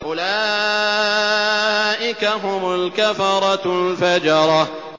أُولَٰئِكَ هُمُ الْكَفَرَةُ الْفَجَرَةُ